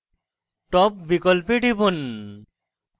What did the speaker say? top বিকল্পে টিপুন